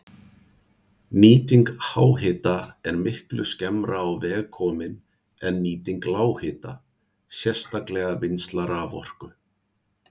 Nýting háhita er miklu skemmra á veg komin en nýting lághita, sérstaklega vinnsla raforku.